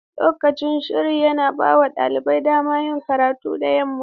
Lokacin shiri yana bawa ɗalibai damar yin karatu da yamma.